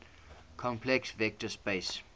complex vector space